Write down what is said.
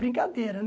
Brincadeira, né?